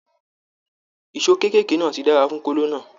Èsó kekere náà tí dára fún kolo náà.